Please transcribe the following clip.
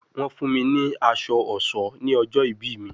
Wọ́n fún mi ní aṣọ ọ̀ṣọ́ ní ọjọ́ ìbí mi